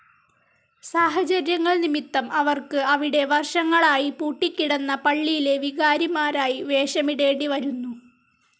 സാഹചര്യങ്ങൾ നിമിത്തം അവർക്ക് അവിടെ വർഷങ്ങളായി പൂട്ടിക്കിടന്ന പള്ളിയിലെ വികാരിമാരായി വേഷമിടേണ്ടി വരുന്നു.